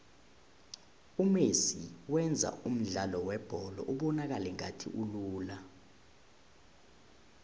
umesi wenza umdlalo webholo ubonakale ngathi ulula